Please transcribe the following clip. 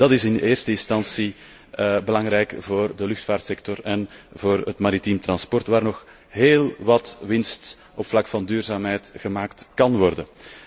Dat is in de eerste instantie belangrijk voor de luchtvaartsector en voor het maritiem transport, waar nog heel wat winst op het vlak van duurzaamheid gemaakt kan worden.